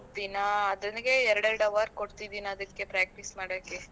ದಿನಾ ಅದಕ್ಕೆ ಎರಡ್ ಎರಡ್ hour ಕೊಡ್ತಿದಿನಿ ಅದಕ್ಕೆ practice ಮಾಡಕ್ಕೆ.